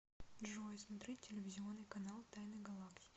джой смотреть телевизионный канал тайны галактики